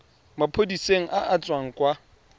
maphodiseng a a tswang kwa